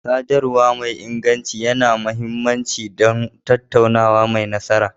Sadarwa mai inganci yana da mahimmanci don tattaunawa mai nasara.